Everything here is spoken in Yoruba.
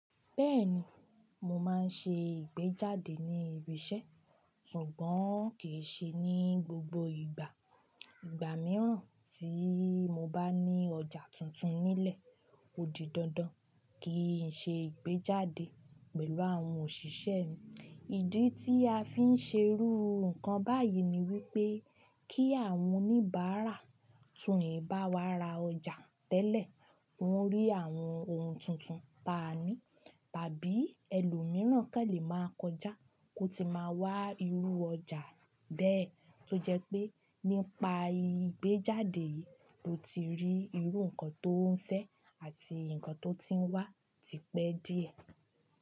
Bẹ́ẹ̀ni, mo máa ń ṣe ìgbéjáde ní ibi iṣẹ́ ṣùgbọ́n kì í ṣe ní gbogbo ìgbà. Ìgbà mìíràn tí mo bá ní ọjà tuntun nílẹ̀, ó di dandan kí n ṣe ìgbéjáde pẹ̀lú àwọn òṣìṣẹ́ mi. Ìdí tí a fi ń ṣe irú nǹkan báyìí ni wípé kí àwọn oníbàárà tún nì bá wa ra ọjà tẹ́lẹ̀ wọ́n rí àwọn ohun tuntun. Táa ní tàbí ẹlòmíràn kẹ́ lè máa kọjá kó ti máa wá irú ọjà bẹ́ẹ̀ tó jẹ́ pé nípa ìgbéjáde yìí ló ti rí irú nǹkan tó ún fẹ́ àti nǹkan tó ti wá tipẹ́ díẹ̀